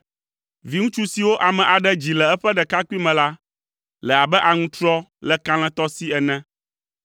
Viŋutsu siwo ame aɖe dzi le eƒe ɖekakpuime la, le abe aŋutrɔ le kalẽtɔ si ene.